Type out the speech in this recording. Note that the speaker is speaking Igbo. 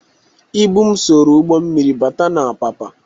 Ịbụ m soro ụgbọ mmiri bata n'Apapa.